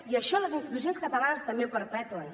i això les institucions catalanes també ho perpetuen